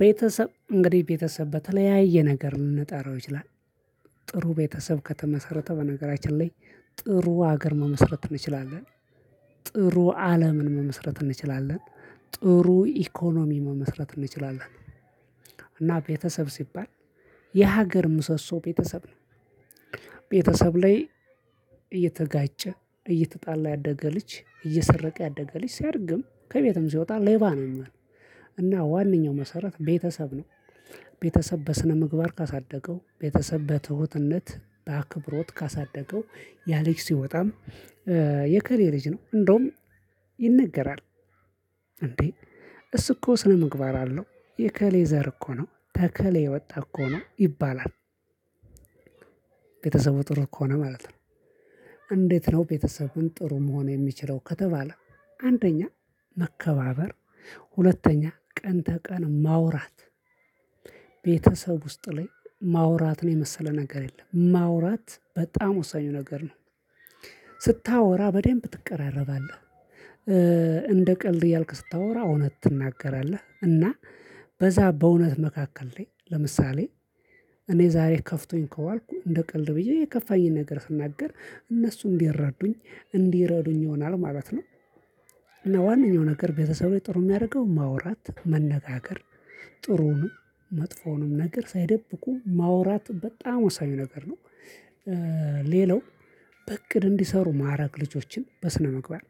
ቤተሰብ እንግዲህ ቤተሰብ በተለያየ ነገር ልንጠራው ይችላል። ጥሩ ቤተሰብ ከተመሰረተ በነገራችን ላይ። ጥሩ ሀገር መመስረት እንችላለን። ጥሩ አለምን መመስረት እንችላለን። ጥሩ ኢኮኖሚ መመስረት እንችላለን። እና ቤተሰብ ሲባል የሀገር ምሰሶ ቤተሰብ ነው። ቤተሰብ ላይ እየተጋጨ እየተጣላ ያደገ ልጅ እየሰረቀ ያደገ ልጅ ሲያድግም ከቤቱም ሲወጣ ሌባ ነው ሚሆን። እና ዋነኛው መሰረት ቤተሰብ ነው። ቤተሰብ በስነምግባር ካሳደገው ቤተሰብ በትሁትነት በአክብሮት ካሳደገው ያ ልጅ ሲወጣም። የከሌ ልጅ ነው እንደውም ይነገራል። እሱ እኮ ስነምግባር አለው የከሌ ዘር እኮ ነው ተከሌ የወጣ እኮ ነው ይባላል። ቤተሰቡ ጥሩ ከሆነ ማለት ነው። እንዴት? ነው ቤተሰቡን ጥሩ መሆን የሚችለው ከተባለ አንደኛ መከባበር ሁለተኛ ቀን ተቀን ማውራት። ቤተሰብ ውስጥ ላይ ማውራትን የመሰለ ነገር የለም ማውራት በጣም ወሳኝ ነገር ነው። ስታወራ በደንብ ትቀራረባለህ። እንደ ቀልድ እያልክ ስታወራ እውነት ትናገራለህ እና በዛ በእውነት መካከል ላይ ለምሳሌ እኔ ዛሬ ከፍቶኝ ከዋልኩ እንደ ቀልድ ብዬ የከፋኝን ነገር ስናገር እነሱ እንዲረዱኝ እንዲረዱኝ ይሆናል ማለት ነው። እና ዋናው ነገር ቤተሰብ ላይ ጥሩ ሚያደርገው ማውራት መነጋገር ጥሩውንም መጥፎውንም ነገር ሳይደብቁ ማውራት በጣም ወሳኝ ነገር ነው። ሌላው በእቅድ እንዲሰሩ ማረግ ልጆችን በስነምግባር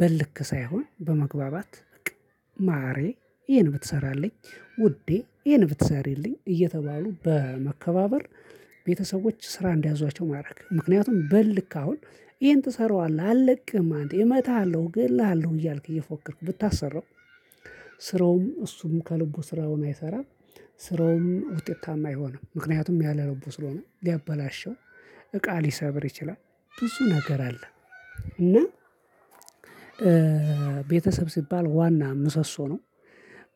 በእልክ ሳይሆን በመግባባት በቃ ማሬ ይሄን ብትሰራልኝ ውዴ ይሄን ብትሰሪልኝ እየተባሉ በመከባበር ቤተሰቦች ስራ እንዲያዟቸው ማድረግ ምክንያቱም በልክ አሁን ይሄን ትሰራዋለህ አልለቅህም አንተ እመተሃለሁ እገልልሃለሁ እያልክ እየፎከርኩ ብታሰራው። ስራውም እሱም ከልቡ ስራውን አይሰራም። ስራውም ውጤታማ አይሆንም። ምክንያቱም ያለ ልቡ ስለሆነ ሊያበላሸው እቃ ሊሰብር ይችላል። ብዙ ነገር አለ። እና ቤተሰብ ሲባል ዋና ምሰሶ ነው።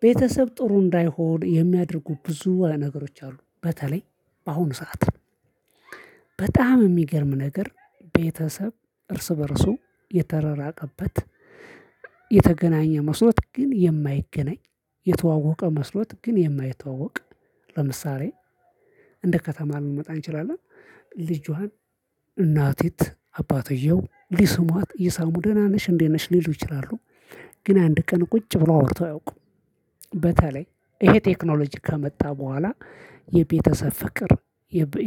ቤተሰብ ጥሩ እንዳይሆን የሚያደርጉ ብዙ ነገሮች አሉ በተለይ በአሁኑ ሰዓት በጣም ሚገርም ነገር ቤተሰብ እርስ በእርሱ የተረራቀበት። የተገናኘ መስሎት ግን የማይገናኝ የተዋወቀ መስሎት ግን የማይተዋወቅ። ለምሳሌ እንደ ከተማ ልንመጣ እንችላለን። ልጅዋን እናቲት አባተየው ሊስሟት እየሳሙ ደህና ነሽ እንዴት ነሽ ሊሉ ይችላሉ። ግን አንድ ቀን ቁጭ ብሎ አውርቶ አያውቁም። በተለይ ይሄ ቴክኖሎጂ ከመጣ በኋላ የቤተሰብ ፍቅር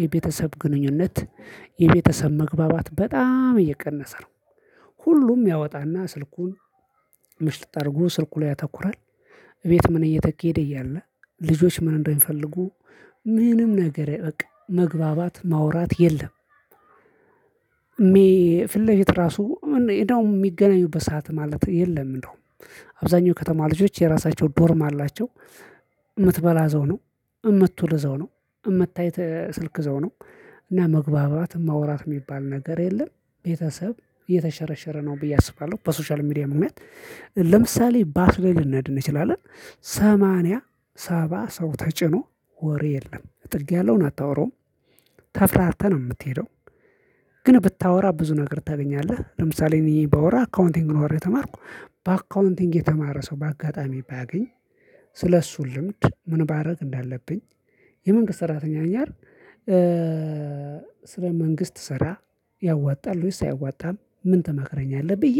የቤተሰብ ግንኙነት የቤተሰብ መግባባት በጣም እየቀነሰ ነው። ሁሉም ያወጣና ስልኩን ምሽልቅ አርጎ ስልኩ ላይ ያተኩራል። እቤት ምን እየተኬደ እያለ ልጆች ምን እንደሚፈልጉ ምንም ነገር አያቅ መግባባት ማውራት የለም። ፊት ለፊት ራሱ እንደው ሚገናኙበት ሰዓት ማለት የለም። እንደውም አብዛኛው ከተማ ልጆች የራሳቸው ዶርም አላቸው። ምትበላ እዛው ነው። ምትውል እዛው ነው። ምታይት ስልክ እዛው ነው። እና መግባባት ማውራት የሚባል ነገር የለም። ቤተሰብ እየተሸረሸረ ነው ብዬ አስባለሁ በሶሻል ሚዲያ ምክንያት። ለምሳሌ ባስሌ ልንደርስ እንችላለን ሰማንያ ሰባ ሰው ተጭኖ ወሬ የለም ጥግ ያለውን አታወራውም ተፍራርተህ ነው የምትሄደው። ግን ብታወራ ብዙ ነገር ታገኛለህ። ለምሳሌ እኔ ባወራ አካውንቲንግ ነው ተማርኩ በአካውንቲንግ የተማረ ሰው በአጋጣሚ ባገኝ። ስለእሱ ልምድ ምን ባረግ እንዳለብኝ የመንግስት ሰራተኛ እኛን። ስለ መንግስት ስራ ያዋጣል ወይስ አያዋጣም ምን? ተመክረኝ አለ ብዬ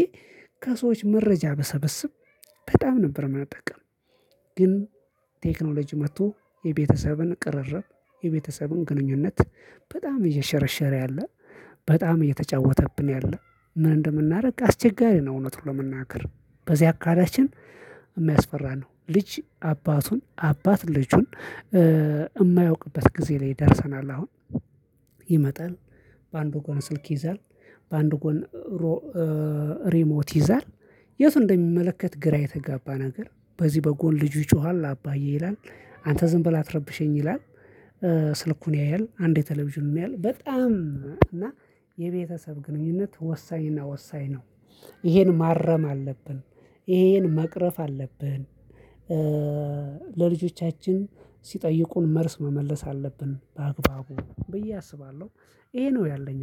ከሰዎች መረጃ ብሰበስብ በጣም ነበር ምንጠቀም። ግን ቴክኖሎጂ መጥቶ የቤተሰብን ቅርርብ የቤተሰብን ግንኙነት በጣም እየሸረሸረ ያለ። በጣም እየተጫወተብን ያለ። ምን እንደምናደርግ አስቸጋሪ ነው። እውነት ነው ለመናገር በዚህ አካላችን የሚያስፈራ ነው። ልጅ አባቱን አባት ልጁን ማያውቅበት ጊዜ ላይ ደርሰናል። አሁን ይመጣል። በአንዱ ጎን ስልክ ይዛል። በአንዱ ጎን ሪሞት ይዛል። የቱን እንደሚመለከት ግራ የተጋባ ነገር። በዚህ በጎን ልጁ ይጮሃል አባዬ ይላል አንተ ዝም ብለህ አትረብሸኝ ይላል። ስልኩን ያያል አንዴ ቴሌቪዥን ያያል በጣም እና የቤተሰብ ግንኙነት ወሳኝና ወሳኝ ነው። ይሄን ማረም አለብን። ይሄን መቅረፍ አለብን። ለልጆቻችን ሲጠይቁን መልስ መመለስ አለብን በአግባቡ ብዬ አስባለሁ ይሄ ነው ያለኝ